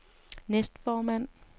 næstformand